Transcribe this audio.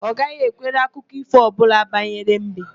Ọ gaghị ekwere akụkọ ífò ọbụla banyere mbe.